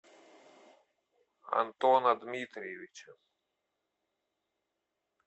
антона дмитриевича